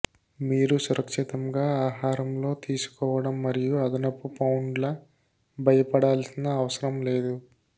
మీరు సురక్షితంగా ఆహారంలో తీసుకోవడం మరియు అదనపు పౌండ్ల భయపడాల్సిన అవసరం లేదు